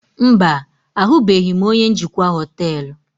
Mba, ahụbeghị m onye njikwa hoteelu.